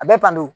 A bɛ tan de